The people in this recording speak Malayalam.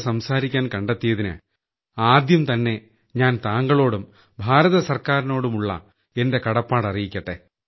സംസാരിക്കാൻ കണ്ടെത്തിയതിന് ആദ്യം തന്നെ ഞാൻ താങ്കളോടും കേന്ദ്ര ഗവണ്മെന്റിനോടുമുള്ള എന്റെ കടപ്പാട് അറിയിക്കട്ടെ